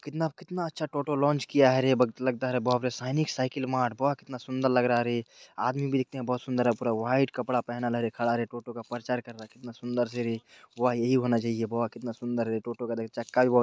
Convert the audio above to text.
कितना-कितना अच्छा टोटो लांच किया है रे बघितला लगता है रे बाप रे| सैनिक साइकल मार्ट वाह कितना सुन्दर लग रहा है रे| आदमी भी देखते हैं बहुत सुन्दर है पूरा वाइट कपड़ा पहने खड़ा है रे टोटो परचार कर रहा है कितना सुन्दर से रे | वाह यही होना चाहिए| वाह कितना सुन्दर है टोटो का चक्का भी बोहोत --